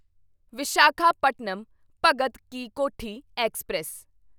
Visakhapatnam Bhagat ki Kothi express